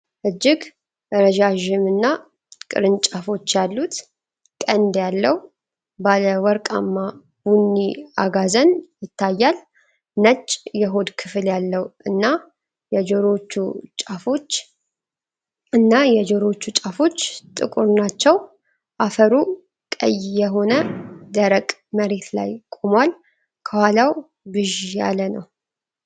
እጅግ ረዣዥም እና ቅርንጫፎች ያሉት ቀንድ ያለው ባለ ወርቃማ ቡኒ አጋዘን ይታያል። ነጭ የሆድ ክፍል ያለው እና የጆሮዎቹ ጫፎች እና የጆሮዎቹ ጫፎች ጥቁር ናቸው። አፈሩ ቀይ የሆነ ደረቅ መሬት ላይ ቆሟል፤ ከኋላው ብዥ ያለ ነው።